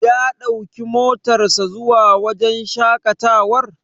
Ya ɗauki motar sa zuwa wajen shaƙatawar.